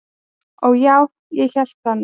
"""Og já, ég hélt það nú."""